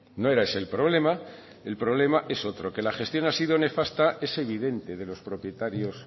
no era ese el problema el problema es otro que la gestión ha sido nefasta es evidente de los propietarios